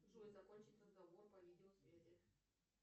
джой закончить разговор по видеосвязи